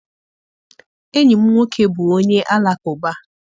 Enyi m nwoke bụ onye Alakụba